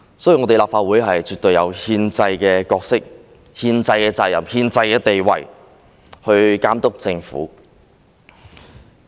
所以，立法會絕對有憲制的角色、憲制的責任和憲制的地位來監督政府。